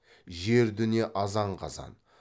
жер дүние азан қазан